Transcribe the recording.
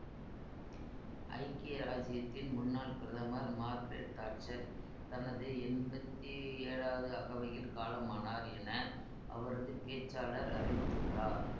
ஐக்கிய இராச்சியத்தின் முன்னாள் பிரதமர் மார்க்ரெட் தாட்சர் தனது எம்பத்தி ஏழாவது அகவையில் காலமானார் என அவரது பேச்சாளர் அறிவித்துள்ளார்